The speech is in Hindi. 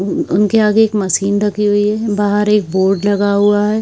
उन उनके आगे एक मशीन रखी हुई है बाहर एक बोर्ड लगा हुआ है।